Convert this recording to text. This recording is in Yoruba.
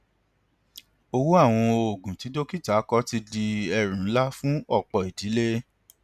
owó àwọn oògùn tí dókítà kọ ti di ẹrù ńlá fún ọpọ ìdílé